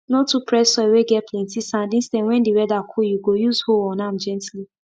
no too press soil whey get plenty sand instead when the weather cool you go use hoe on am gently